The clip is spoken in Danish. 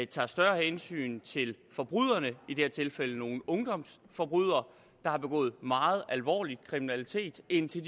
tager større hensyn til forbryderne i dette tilfælde nogle ungdomsforbrydere der har begået meget alvorlig kriminalitet end til